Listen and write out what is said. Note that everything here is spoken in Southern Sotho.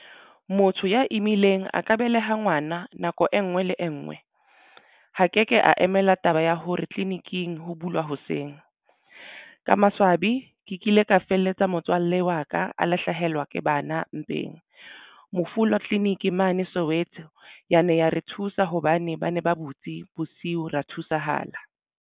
Motho ya imileng a ka beleha ngwana nako e nngwe le e ngwe. Ha ke ke a emela taba ya hore tleliniking ho bulwa hoseng. Ka maswabi ke kile ka ka felletsa motswalle wa ka a la hlahelwa ke bana mpeng. Mofula Clinic mane Soweto yane ya re thusa hobane ba ne ba butswe bosiu ra thusahala.